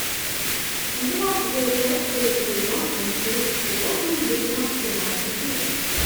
двенадцатая часть третий сезон мультфильм субботним вечером в прямом эфире